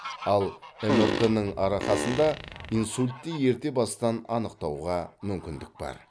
ал мрт ның арқасында инсультті ерте бастан анықтауға мүмкіндік бар